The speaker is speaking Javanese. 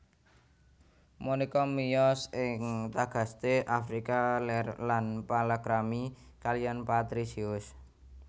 Monika miyos ing Tagaste Afrika Lèr lan palakrami kaliyan Patrisius